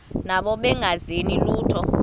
nabo bengazenzi lutho